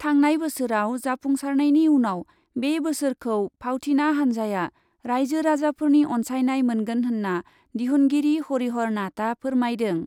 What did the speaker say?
थांनाय बोसोराव जाफुंसारनायनि उनाव बे बोसोरखौ फावथिना हान्जाया राइजो राजाफोरनि अन्सायनाय मोनगोन होन्ना दिहुनगिरि हरिहर नाथआ फोरमायदों।